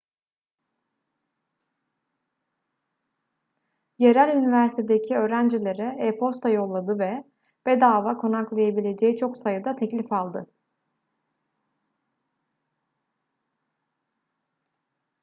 yerel üniversitedeki öğrencilere e-posta yolladı ve bedava konaklayabileceği çok sayıda teklif aldı